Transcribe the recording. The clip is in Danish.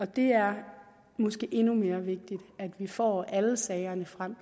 det er måske endnu mere vigtigt at vi får alle sagerne frem